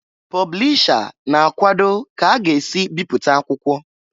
Pọblisha na-akwọdọ ka a ga-esi bipụta akwụkwọ.